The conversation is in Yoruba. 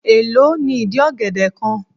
Èló ni ìdí ọ̀gẹ̀dẹ̀ kan?